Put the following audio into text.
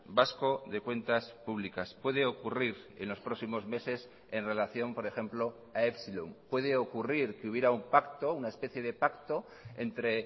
vasco de cuentas públicas puede ocurrir en los próximos meses en relación por ejemplo a epsilon puede ocurrir que hubiera un pacto una especie de pacto entre